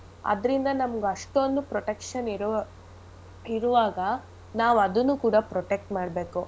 ಅದರಿಂದ ನಮ್ಗ್ ಅಷ್ಟೊಂದು protection ಇರೋ ಇರುವಾಗ ನಾವ್ ಅದುನ್ನೂ ಕೂಡ protect ಮಾಡ್ಬೇಕು